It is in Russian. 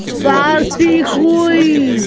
соси хуй